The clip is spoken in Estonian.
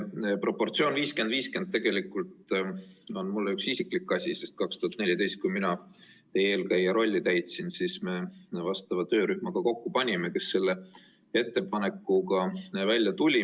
See proportsioon 50 : 50 on tegelikult mulle isiklik asi, sest 2014, kui mina teie eelkäija rolli täitsin, siis me vastava töörühma ka kokku panime, kes tuli välja selle ettepanekuga.